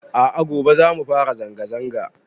A'a gobe zamu fara zanga zanga